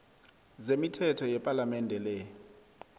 zemithetho yepalamende le